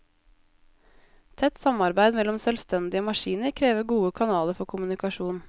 Tett samarbeid mellom selvstendige maskiner krever gode kanaler for kommunikasjon.